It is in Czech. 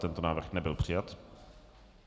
Tento návrh nebyl přijat.